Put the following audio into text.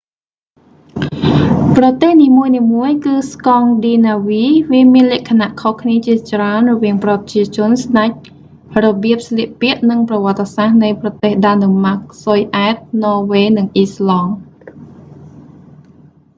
ប្រទេសនីមួយៗគឺ ស្កង់ឌីណាវី' វាមានលក្ខណៈខុសគ្នាជាច្រើនរវាងប្រជាជន ស្តេច របៀបស្លៀកពាក់ និងប្រវត្តិសាស្រ្តនៃប្រទេសដាណឺម៉ាក ស៊ុយអែត ន័រវេ និង អីស្លង់